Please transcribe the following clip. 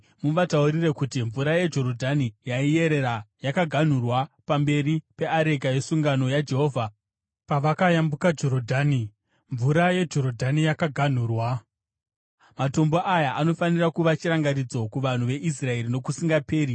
muvataurire kuti mvura yeJorodhani yaiyerera yakaganhurwa pamberi peareka yesungano yaJehovha. Pavakayambuka Jorodhani, mvura yeJorodhani yakaganhurwa. Matombo aya anofanira kuva chirangaridzo kuvanhu veIsraeri nokusingaperi.”